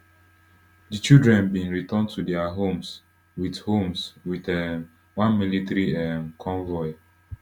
di children bin return to dia homes wit homes wit um one military um convoy